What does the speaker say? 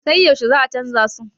sai yaushe za a canja su?